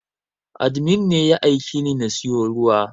Admin ne ya aikeni na siyu ruwa